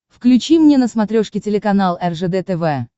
включи мне на смотрешке телеканал ржд тв